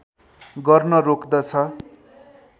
गर्न रोक्दछ